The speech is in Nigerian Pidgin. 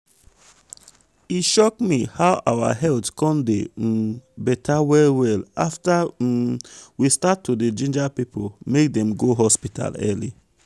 e shock me how our health come dey um beta well well after um we start to dey ginger people make dem go hospital early.